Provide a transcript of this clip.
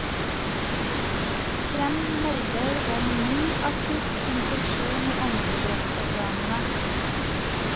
Kreml melder om ny akutt infeksjon i åndedrettsorganene.